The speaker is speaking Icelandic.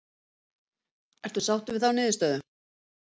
Ertu sáttur við þá niðurstöðu?